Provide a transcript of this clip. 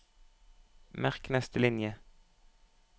Merk neste linje